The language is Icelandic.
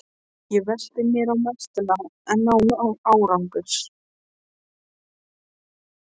Ég velti mér á meltuna en án árangurs.